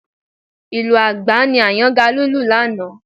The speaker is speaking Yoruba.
Ìlù àgbá ni Àyàngalú lù lánàá